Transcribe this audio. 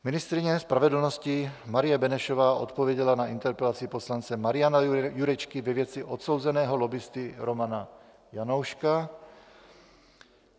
Ministryně spravedlnosti Marie Benešová odpověděla na interpelaci poslance Mariana Jurečky ve věci odsouzeného lobbisty Romana Janouška.